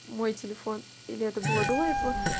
мой телефон или это было до этого